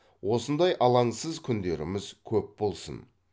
осындай алаңсыз күндеріміз көп болсын